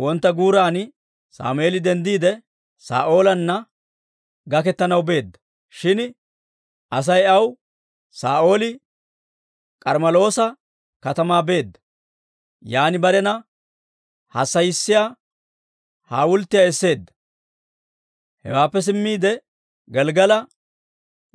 Wontta guuran Sammeeli denddiide, Saa'oolanna gaketanaw beedda; shin Asay aw, «Saa'ooli K'armmeloosa katamaa beedda; yaan barena hassayissiyaa hawulttiyaa esseedda; hewaappe simmiide, Gelggala